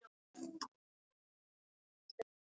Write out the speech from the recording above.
Ingveldur: Komið þið oft hingað?